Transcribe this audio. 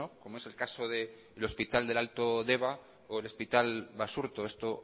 como es el caso del hospital del alto deba o del hospital basurto esto